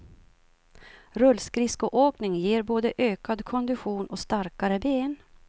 Rullskridskoåkning ger både ökad kondition och starkare ben.